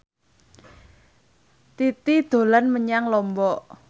Titi dolan menyang Lombok